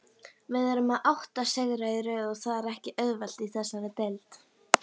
Við erum með átta sigra í röð og það er ekki auðvelt í þessari deild.